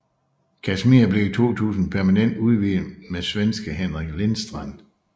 Kashmir blev i 2000 permanent udvidet med svenske Henrik Lindstrand